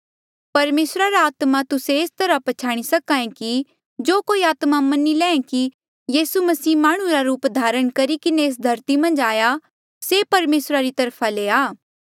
परमेसरा रा आत्मा तुस्से एस तरहा प्छ्याणी सक्हा ऐें कि जो कोई आत्मा मनी लैंहीं कि यीसू मसीह माह्णुं रा रूप धारण करी किन्हें एस धरती मन्झ आया से परमेसरा री तरफा ले आ